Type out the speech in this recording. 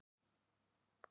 Strákunum brá ónotalega.